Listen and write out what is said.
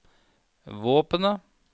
våpenet